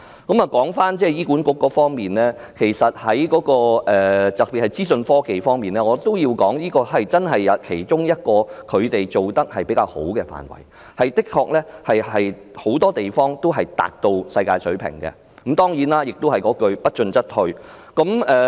說回醫管局各範疇的表現，特別是資訊科技範疇，我要指出這是其中一個他們做得比較好的範疇，當中很多方面的確已達至世界水平，但當然，老生常談的一句是："不進則退"。